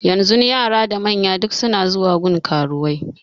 Yanzun yara da manya duk suna zuwa gun karuwai